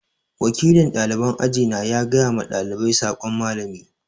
Wakilin ɗaliban aji na gaya ma ɗalibai sakon Mallami.